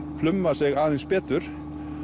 pluma sig aðeins betur